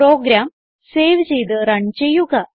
programme save ചെയ്ത് run ചെയ്യുക